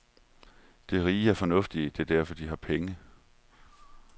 De rige er fornuftige, det er derfor, de har penge.